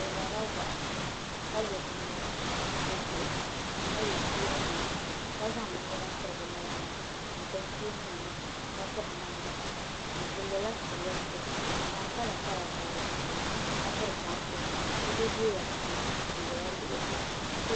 Bi worila wahi ka lo binyɛra bi zuɣu ni ka yɛ cheeni nima ka zaŋ binyɛra piri bi naba ni n piri cheeni nima ka piri namda bi lola shɛloriti n zaŋ kala kala gabi di puuni ka piri bansi niraba zooya pam n ʒɛya lihiriba